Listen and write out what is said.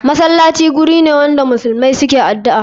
Masalaci gurine wanda muslmai suke adu'a.